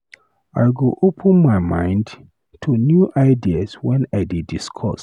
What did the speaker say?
I go open my mind to new ideas when I dey discuss.